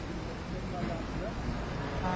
Qoyulmuşdur yəni daha sonra.